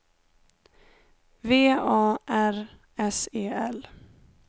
V A R S E L